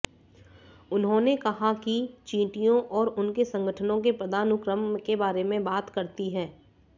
उन्होंने कहा कि चींटियों और उनके संगठनों के पदानुक्रम के बारे में बात करती है